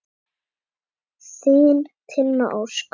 Þín, Tinna Ósk.